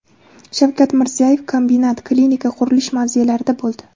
Shavkat Mirziyoyev kombinat , klinika , qurilish mavzelarida bo‘ldi.